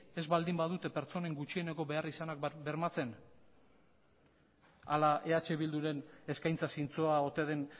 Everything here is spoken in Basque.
ez baldin badute pertsonen gutxieneko beharrizanak bermatzen hala eh bilduren eskaintza zintzoa ote den